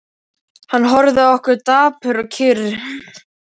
Hann horfði á okkur, dapur og kyrr.